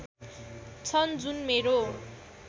छन् जुन मेरो